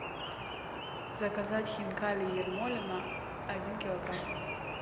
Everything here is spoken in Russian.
заказать хинкали ермолино один килограмм